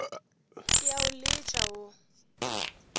ke a o letša wo